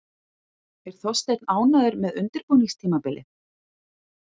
Er Þorsteinn ánægður með undirbúningstímabilið?